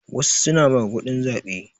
Wasu suna maguɗin zaɓe.